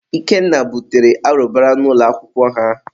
Ikenna butere arụbara n'ụlọ akwụkwọ ha.